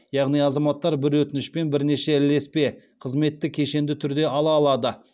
яғни азаматтар бір өтінішпен бірнеше ілеспе қызметті кешенді түрде ала алады